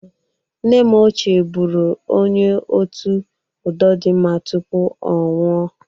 Nne m ochie bụrụ onye otu udodịmma tupu ọ nwọ.